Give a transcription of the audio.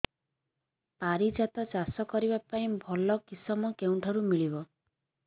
ପାରିଜାତ ଚାଷ କରିବା ପାଇଁ ଭଲ କିଶମ କେଉଁଠାରୁ ମିଳିବ